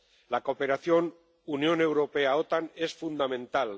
La cooperación Unión Europea OTAN es fundamental.